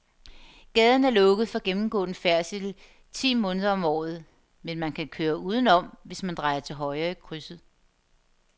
Gaden er lukket for gennemgående færdsel ti måneder om året, men man kan køre udenom, hvis man drejer til højre i krydset.